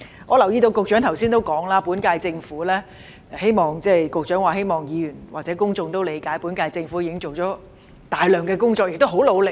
我留意到局長剛才也提到，希望議員或公眾也理解本屆政府已做了大量工作，亦很努力。